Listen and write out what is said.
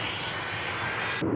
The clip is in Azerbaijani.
Getdi, getdi, getdi, getdi, getdi.